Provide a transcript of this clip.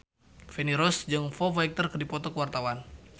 Feni Rose jeung Foo Fighter keur dipoto ku wartawan